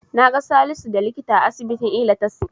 Naga Salisu da likita a asibitin Ilatasi.